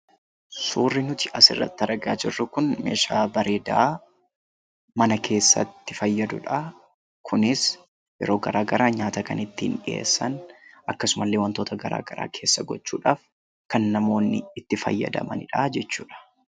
Suurri nuti asirratti argaa jirru kun meeshaa bareedaa mana keessatti fayyadudha. Kunis yeroo garaagaraa nyaata kan ittiin dhiyeessan. Akkasumas, wantoota garaagaraa keessa gochuudhaaf namoonni itti fayyadamanidha jechuudha.